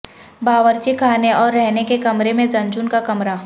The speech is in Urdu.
باورچی خانے اور رہنے کے کمرے میں زنجون کا کمرہ